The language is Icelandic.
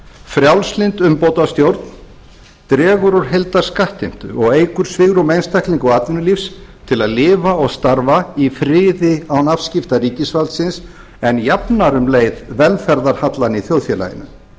frjálslynd umbótastjórn dregur úr heildarskattheimtu og eykur svigrúm einstaklinga og atvinnulífs til að lifa og starfa í friði án afskipta ríkisvaldsins en jafnar um leið velferðarhallann í þjóðfélaginu